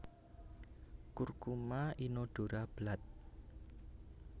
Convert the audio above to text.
Curcuma inodora Blatt